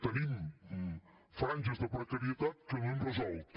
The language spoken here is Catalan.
tenim franges de precarietat que no hem resolt